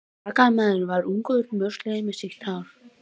Sakamaðurinn var ungur og mjósleginn með sítt ljóst hár.